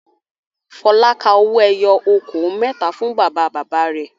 Fọlá ka owó ẹyọ okòó mẹ́ta fún bàbá-bàbá rẹ̀.